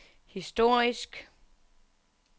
historisk